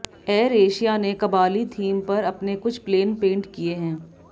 air Asia ने Kabali theme पर अपने कुछ प्लेन पेंट किए हैं